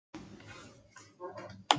Þú ert sem betur fer á móti fóstureyðingum.